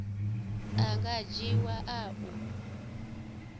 a nga dzhiiwa a u